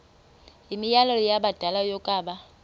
yimianelo yabadala yokaba